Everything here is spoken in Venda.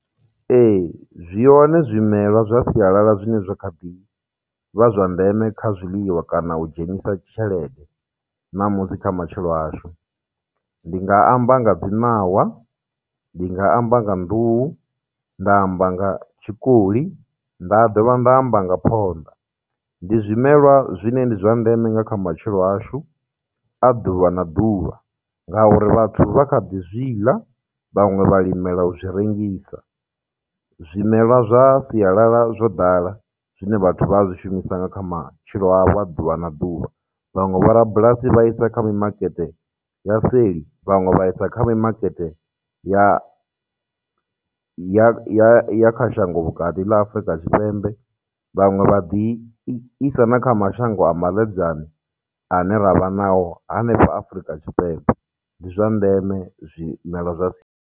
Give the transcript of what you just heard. Ee, zwihone zwimelwa zwa sialala zwine zwa kha ḓi vha zwa ndeme kha zwiḽiwa kana u dzhenisa tshelede namusi kha matshilo ashu, ndi nga amba nga dzi ṋawa, ndinga amba nga nḓuhu, nda amba nga tshikoli, nda dovha nda amba nga phonḓa. Ndi zwimelwa zwine ndi zwa ndeme nga kha matshilo ashu a ḓuvha na ḓuvha ngauri vhathu vha kha ḓi zwiḽa, vhaṅwe vha limela u zwi rengisa. Zwimelwa zwa sialala zwo ḓala zwine vhathu vha a zwi shumisa nga kha matshilo a vho a ḓuvha na ḓuvha. Vhaṅwe vho rabulasi vha isa kha mimakete ya seli, vhaṅwe vha isa kha mimakete ya ya ya ya kha shango vhukati ḽa Afurika Tshipembe, vhaṅwe vha ḓi isa na kha mashango a maḽedzani ane ravha nao hanefha Afurika Tshipembe, ndi zwa ndeme zwimela zwa .